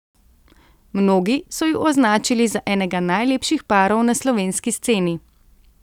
Mnogi so ju označili za enega najlepših parov na slovenski sceni.